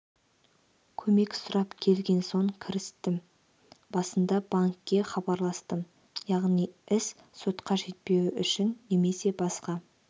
көмек сұрап келген соң кірістім басында банкке хабарластым яғни іс сотқа жетпеуі үшін немесе басқа